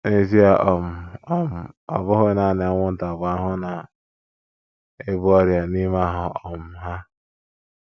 N’ezie um, um ọ bụghị nanị anwụnta bụ ahụhụ na - ebu ọrịa n’ime ahụ́ um ha.